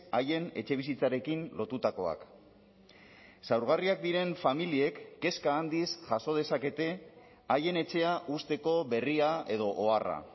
haien etxebizitzarekin lotutakoak zaurgarriak diren familiek kezka handiz jaso dezakete haien etxea uzteko berria edo oharra